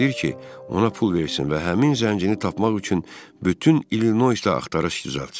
Tələb edir ki, ona pul versin və həmin zəncini tapmaq üçün bütün İllinoysdə axtarış düzəltsin.